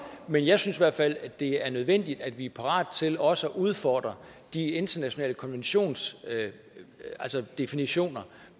men jeg synes i hvert fald at det er nødvendigt at vi er parate til også at udfordre de internationale konventioners definitioner